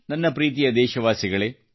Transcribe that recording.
ನನ್ನ ಪ್ರೀತಿಯ ದೇಶವಾಸಿಗಳೇ